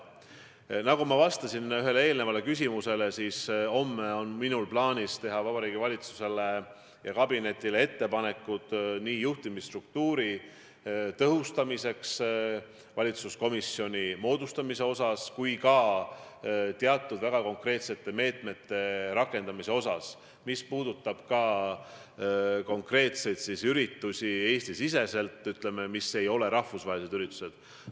Nagu ma ütlesin ühele eelmisele küsimusele vastates, homme on mul plaanis teha Vabariigi Valitsusele ja kabinetile ettepanekud nii juhtimisstruktuuri tõhustamiseks valitsuskomisjoni moodustamise kohta kui ka teatud väga konkreetsete meetmete rakendamise kohta, mis puudutavad muu hulgas konkreetseid Eesti-siseseid üritusi, mis ei ole rahvusvahelised üritused.